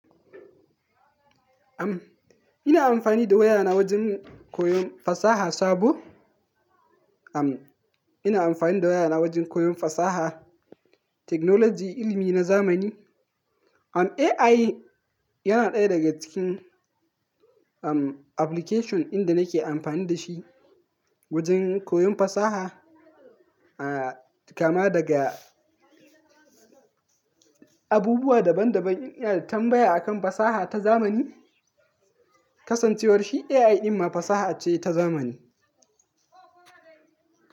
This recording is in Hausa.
Am, ina amfani da wayana wajen koyon fasaha sabo. Am, ina amfani da wayana wajen koyon fasaha, technology, ilimi na zamani. Am, AI yana ɗaya daga cikin, am, application dinda nake amfani da shi wajen koyon fasaha. Ah, kama daga abubuwa daban daban in ina da tambaya akan fasaha ta zamani. Kasancewar shi AI din ma fasaha ce ta zamani.